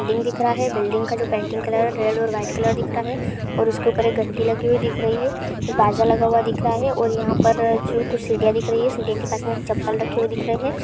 Building दिख रहा है बिल्डिंग का जो पेंटिंग कलर है जो रेड और वाइट कलर का दिख रहा है और उसके ऊपर जो घंटी लगी हुई दिख रही है| एक बाजा लगा हुआ दिख रहा है और पर जो कुछ सीढ़ियाँ दिख रही हैं सीढ़ी के पास चप्पल रखी हुई दिख रही है।